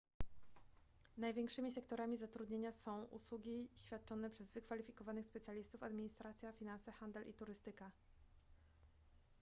największymi sektorami zatrudnienia są usługi świadczone przez wykwalifikowanych specjalistów administracja finanse handel i turystyka